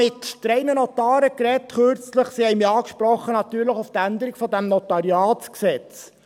Ich habe kürzlich mit drei Notaren gesprochen, die mich natürlich auf die Änderung dieses NG angesprochen haben.